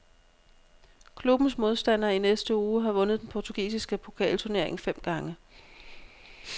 Klubbens modstander i næste uge har vundet den portugisiske pokalturnering fem gange.